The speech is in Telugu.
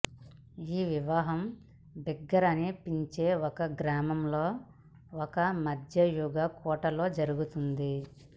ఈ వివాహం బిగ్గార్ అని పిలిచే ఒక గ్రామంలో ఒక మధ్యయుగ కోటలో జరుగుతోంది